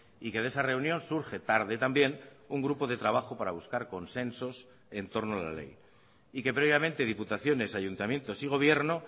y que de esa reunión surge tarde también un grupo de trabajo para buscar consensos entorno a la ley y que previamente diputaciones ayuntamientos y gobierno